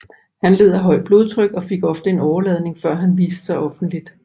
Han led af højt blodtryk og fik ofte en åreladning før han viste sig offentligt